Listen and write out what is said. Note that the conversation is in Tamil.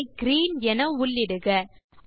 கலர் ஐ கிரீன் என உள்ளிடுக